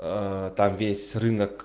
там весь рынок